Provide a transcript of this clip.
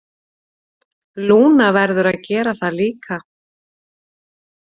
Lúna verður að gera það líka.